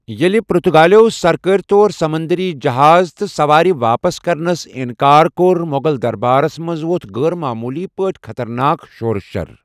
ییٚلہِ پرتُگالیٛو سركٲرِ طور سمنٛدٔری جہاز تہٕ سَوارِ واپس کرنس اِنٛکار کوٚر، مٗغل دربارس منٛز ووٚتھ غٲر معموٗلی پٲٹھۍ خطرناک شوروشر ۔